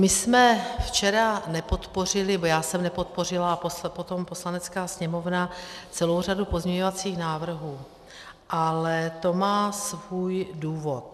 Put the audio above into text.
My jsme včera nepodpořili, nebo já jsem nepodpořila, a potom Poslanecká sněmovna, celou řadu pozměňovacích návrhů, ale to má svůj důvod.